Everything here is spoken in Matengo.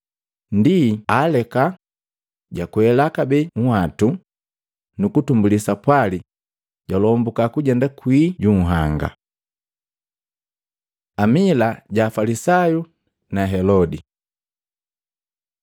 Ndi jaaleka, jwakwela kabee nhwatu, nukutumbuli sapwali jwalomboka kujenda kwii ju nhanga. Lisali la Afalisayu na Helode Matei 16:5-12